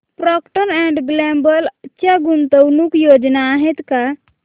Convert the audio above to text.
Procter and Gamble च्या गुंतवणूक योजना आहेत का